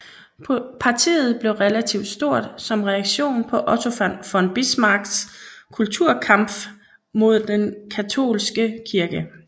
Partiet blev relativt stort som reaktion på Otto von Bismarcks Kulturkampf mod den katolske kirke